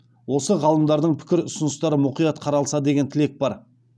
осы ғалымдардың пікір ұсыныстары мұқият қаралса деген тілек бар